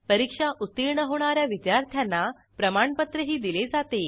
परीक्षा उत्तीर्ण होणा या विद्यार्थ्यांना प्रमाणपत्रही दिले जाते